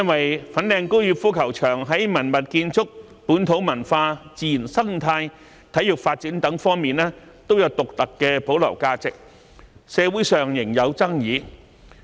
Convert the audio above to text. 由於粉嶺高爾夫球場在文物建築、本土文化、自然生態及體育發展等方面，都有獨特的保留價值，社會上對其搬遷問題仍有爭議。